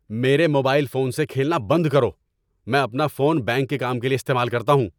میرے mobile phone سے کھیلنا بند کرو۔ میں اپنا فون بینک کے کام کے لیے استعمال کرتا ہوں۔